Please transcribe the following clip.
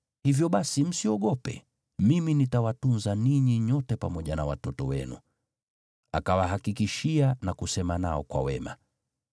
Hivyo basi, msiogope. Mimi nitawatunza ninyi nyote pamoja na watoto wenu.” Akawahakikishia na kusema nao kwa wema.